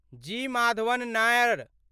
जी. Madhavan Nair